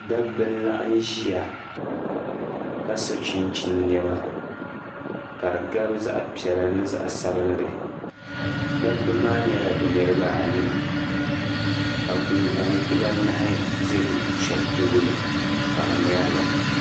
Dabba n laɣim ʒiya ka su'chinchini nɛma ka di gabi zaɣ'piɛla ni zaɣ'sabinli dabba maa nyɛla bɛ niriba anii ka gungona dibaanahi ʒi shɛba tooni ka bɛ ŋmɛri li.